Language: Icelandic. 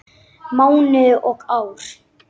Mánuði og ár.